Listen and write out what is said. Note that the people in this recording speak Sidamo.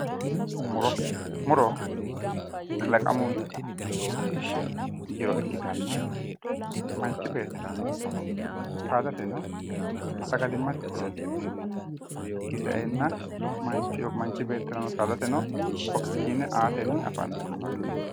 Muro muro kalaqamu jiro ikkitanna manchi beettirano ikko saadateno sagalimmate horoonsi'neemmote hakkii sa"eenna manchi beettirano saadateno oxygen aatenni afantannote